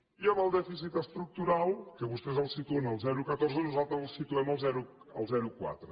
i amb el dèficit estructural que vostès el situen al zero coma catorze nosaltres el situem al zero coma quatre